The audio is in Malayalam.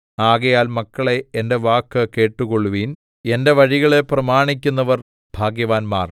ആകയാൽ മക്കളേ എന്റെ വാക്ക് കേട്ടുകൊള്ളുവിൻ എന്റെ വഴികളെ പ്രമാണിക്കുന്നവർ ഭാഗ്യവാന്മാർ